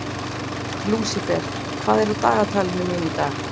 Lúsifer, hvað er á dagatalinu mínu í dag?